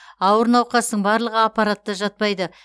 ауыр науқастың барлығы аппаратта жатпайды